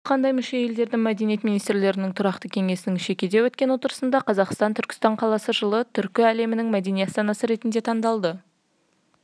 хабарда айтылғандай мүше елдердің мәдениет министрлерінің тұрақты кеңесінің шекиде өткен отырысында қазақстанның түркстан қаласы жылы түркі әлемінің мәдени астанасы ретінде таңдалды